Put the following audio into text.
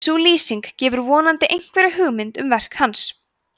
sú lýsing gefur vonandi einhverja hugmynd um verk hans